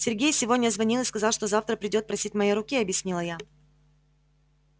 сергей сегодня звонил и сказал что завтра придёт просить моей руки объяснила я